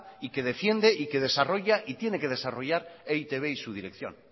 y que defiende y que desarrolla y tiene que desarrollar e i te be y su dirección